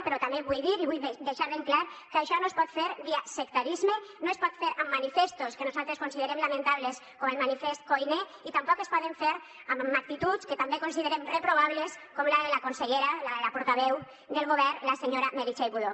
però també vull dir i vull deixar ben clar que això no es pot fer via sectarisme no es pot fer amb manifestos que nosaltres considerem lamentables com el manifest koiné i tampoc es pot fer amb actituds que també considerem reprovables com la de la consellera la de la portaveu del govern la senyora meritxell budó